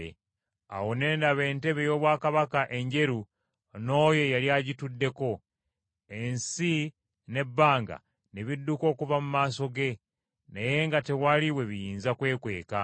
Awo ne ndaba entebe ey’obwakabaka enjeru n’Oyo eyali agituddeko. Ensi n’ebbanga ne bidduka okuva mu maaso ge, naye nga tewali we biyinza kwekweka.